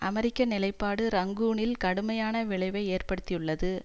அமெரிக்க நிலைப்பாடு ரங்கூனில் கடுமையான விளைவை ஏற்படுத்தியுள்ளது